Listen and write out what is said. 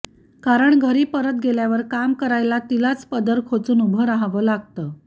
कारण घरी परत गेल्यावर काम करायला तिलाच पदर खोचून उभं राहावं लागतं